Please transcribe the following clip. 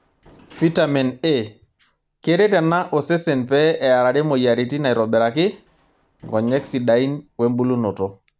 Fitamen A:Keret ena osesen pee eerare moyiaritin aitobiraki ,nkonyek sidain wembulunoto.